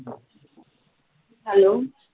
hello